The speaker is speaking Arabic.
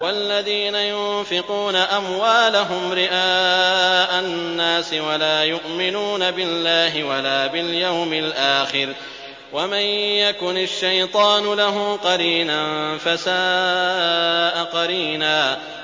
وَالَّذِينَ يُنفِقُونَ أَمْوَالَهُمْ رِئَاءَ النَّاسِ وَلَا يُؤْمِنُونَ بِاللَّهِ وَلَا بِالْيَوْمِ الْآخِرِ ۗ وَمَن يَكُنِ الشَّيْطَانُ لَهُ قَرِينًا فَسَاءَ قَرِينًا